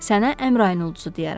Sənə Əmrayın ulduzu deyərəm.